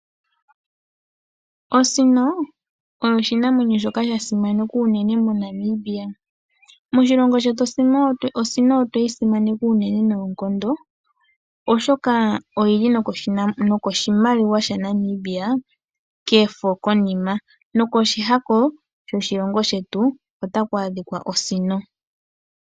Osino oyo oshinamwenyo shoka sha simanekwa uunene moNamibia. Moshilongo shetu osino otweyi simaneka uunene noonkondo oshoka oyili nokoshimaliwa shaNamibia kefo konima nokoshihako shoshilongo shetu otaku adhika osino.